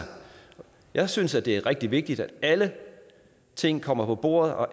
jeg synes det er rigtig vigtigt at alle ting kommer på bordet og